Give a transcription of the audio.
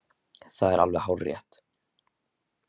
Það er alveg hárrétt.